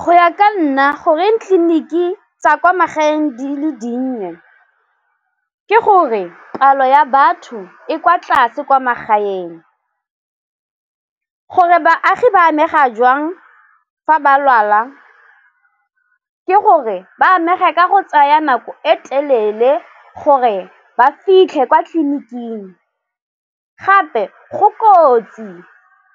Go ya ka nna goreng ditleliniki tsa kwa magaeng di le dinnye ke gore palo ya batho e kwa tlase kwa magaeng, gore baagi ba amega jwang fa ba lwala ke gore ba amega ka go tsaya nako e telele gore ba fitlhe kwa tleliniking gape go kotsi